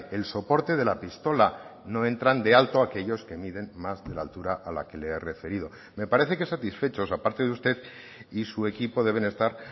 el soporte de la pistola no entran de alto aquellos que miden más de la altura a la que le he referido me parece que satisfechos aparte de usted y su equipo deben estar